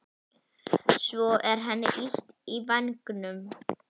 Svo er henni illt í vængnum.